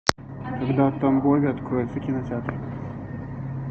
когда в тамбове откроются кинотеатры